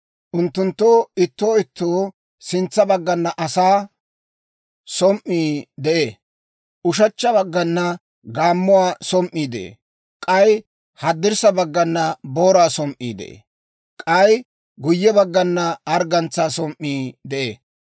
Unttunttoo ittoo ittoo sintsa baggana asaa som"ii de'ee; ushechcha baggana gaammuwaa som"ii de'ee; k'ay haddirssa baggana booraa som"ii de'ee; k'ay guyye baggana arggantsaa som"ii de'ee;